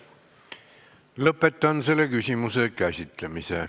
Lõpetan selle küsimuse käsitlemise.